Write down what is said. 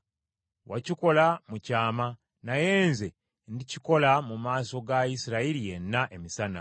Wakikola mu kyama, naye nze ndikikola mu maaso ga Isirayiri yenna, emisana.’ ”